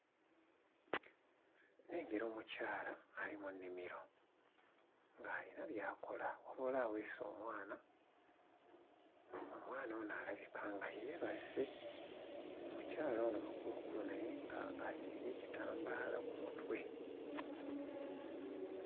Nnengera omukyala ali mu nnimiro ng'alina by'akola wabula aweese omwana omwana ono alabika nga yeebase omukyala ono mukulukulu naye nga asibye ekitambaala ku mutwe.